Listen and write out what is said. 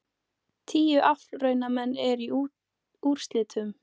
Tíu aflraunamenn eru í úrslitunum